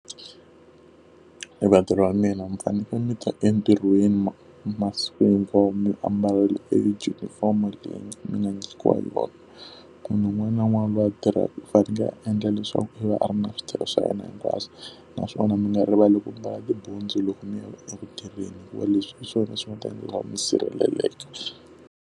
Vatirhi va mina mi fanekele mi ta entirhweni masiku hinkwawo mi ambarile e junifomo leyi mi nga nyikiwa yona. Munhu un'wana na un'wana loyi a tirhaka u fanele a endla leswaku i va a ri na switirhi swa yena hinkwaswo, naswona mi nga rivali ku ambala tibutsu loko mi ya eku tirheni hikuva leswi hi swona swi nga ta endla ku va mi sirheleleka.